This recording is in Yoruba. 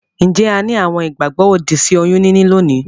Njé a ni àwon ìgbàgbó òdì sí oyún níní lónìí?